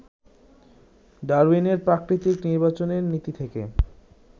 ডারউইনের প্রাকৃতিক নির্বাচনের নীতি থেকে